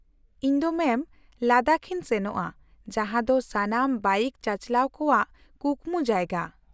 - ᱤᱧ ᱫᱚ ᱢᱮᱢ ᱞᱟᱫᱟᱠᱷ ᱤᱧ ᱥᱮᱱᱚᱜᱼᱟ, ᱡᱟᱦᱟᱸ ᱫᱚ ᱥᱟᱱᱟᱢ ᱵᱟᱭᱤᱠ ᱪᱟᱪᱟᱞᱟᱣ ᱠᱚᱣᱟᱜ ᱠᱩᱠᱢᱩ ᱡᱟᱭᱜᱟ ᱾